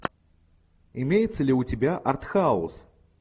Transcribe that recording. имеется ли у тебя артхаус